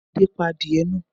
Adé pa adìẹ náà?